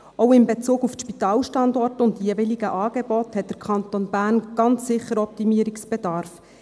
Auch in Bezug auf die Spitalstandorte und die jeweiligen Angebote hat der Kanton Bern ganz sicher Optimierungsbedarf.